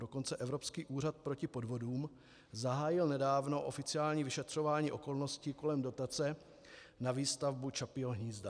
Dokonce Evropský úřad proti podvodům zahájil nedávno oficiální vyšetřování okolností kolem dotace na výstavbu Čapího hnízda.